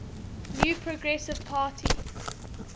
new progressive party